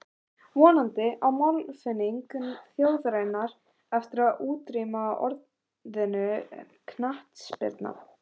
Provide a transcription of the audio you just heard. Vonandi á máltilfinning þjóðarinnar eftir að útrýma orðinu knattspyrna.